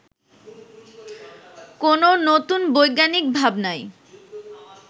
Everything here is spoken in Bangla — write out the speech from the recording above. কোনো নতুন বৈজ্ঞানিক ভাবনায়